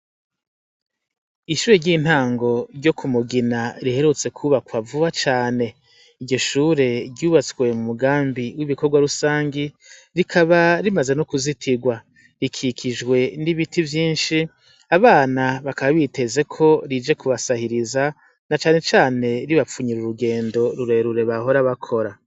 ishure ry'intango ryo ku mugina riherutse kubakwa vuba cane, iryo shure ryubatswe mu mugambi w'ibikorwa rusangi, rikaba rimaze no kuzitirwa, rikikijwe n'ibiti vyinshi, abana bakaba biteze ko rije kubasahiriza, na cane cane ribapfunyirira urugendo rurerure bahora bakora.